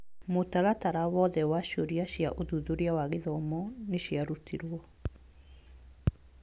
Mũtaratara wothe wa ciũria cia ũthuthuria wa gĩthomo nĩciarutirwo